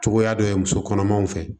Cogoya dɔ ye muso kɔnɔmaw fɛ